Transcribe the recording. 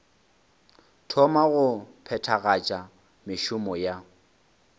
thoma go phethagatša mešomo ya